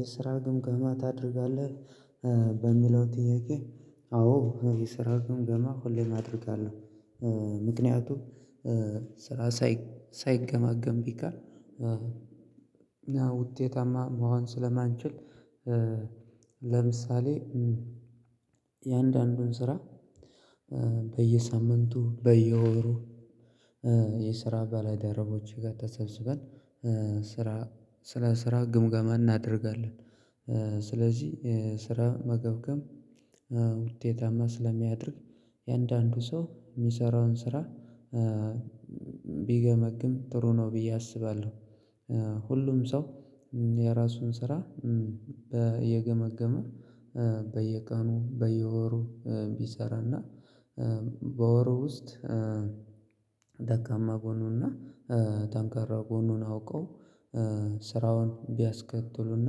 የስራ ግምጋማ ታደርጋለህ? በሚለው ጥያቄ አዎ የስራውን ግምገማ ሁሌም አደርጋለሁ። ምክንያቱም ስራ ሳይገመገም ቢቀር። ውጤታማ መሆን ስለማንችል። ለምሳሌ እያንዳንዱን ስራ በየሳምንቱ በየወሩ የስራ በልደረቦች ጋር ተሰብስበን ስራ ስለ ስራ ግምገማ እናደርጋለን። ስለዚህ ስራ መገምገም ውጤታማ ስለሚያደርግ። እያንዳንዱ ሰው የሚሰራውን ስራ ቢገመግም ጥሩ ነው ብዬ አስባለሁ። ሁሉም ሰው የራሱን ስራ እየገመገመ በየቀኑ በየወሩ ቢሰራና በወሩ ውስጥ። ደካማ ጎኑን እና ጠንካራ ጎኑን አውቀው ስራውን ቢያስቀጥሉና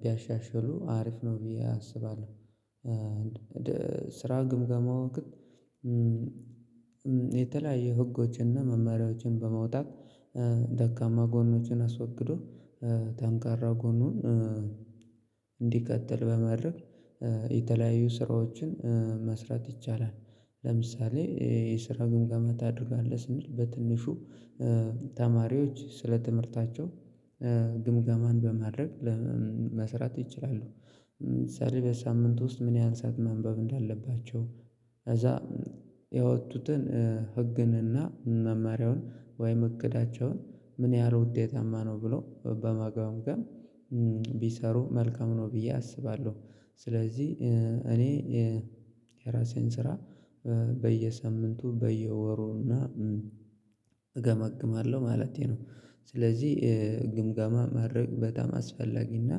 ቢያሻሽሉ አሪፍ ነው ብዬ አስባለሁ። ስራ ግምገማው ግን። የተለያየ ህጎችንና መመሪያዎችን በመውጣት ደካማ ጎኖችን አስወግዶ ተንካራ ጎኑን እንዲቀጥል በማድረግ የተለያዩ ስራዎችን መስራት ይቻላል። ለምሳሌ የስራ ግምገማ ታደርጋለህ ስንል በትንሹ ተማሪዎች ስለ ትምህርታቸው ግምገማን በማድረግ መስራት ይችላሉ። ለምሳሌ በሳምንት ውስጥ ምን ያህል ሰዓት ማንበብ እንዳለባቸው ከዛ ያወጡትን ህግንና መማሪያውን ወይም እቅዳቸውን ምን ያህል ውጤታማ ነው ብሎ በመገምገም ቢሰሩ መልካም ነው ብዬ አስባለሁ። ስለዚህ እኔ የራሴን ስራ በየሰምንቱ በየወሩ እና እገመግማለሁ ማለቴ ነው። ስለዚህ ግምገማ ማድረግ በጣም አስፈላጊና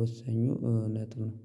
ወሳኙ ነጥብ ነው